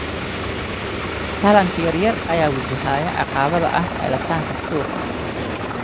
Taranka yaryar ayaa wajahaya caqabada ah helitaanka suuqa.